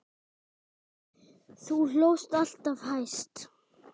Þú hlóst alltaf hæst.